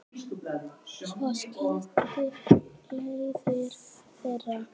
Svo skildi leiðir þeirra.